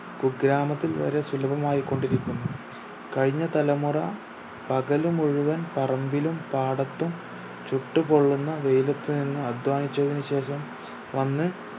കുഗ്രാമത്തിൽ വരെ സുലഭമായിക്കൊണ്ടിരിക്കുന്നു കയിഞ്ഞ തലമുറ പകല് മുഴുവൻ പറമ്പിലും പാടത്തും ചുട്ടുപൊള്ളുന്ന വെയിലത്തു നിന്ന് അധ്വാനിച്ചതിന് ശേഷം വന്ന്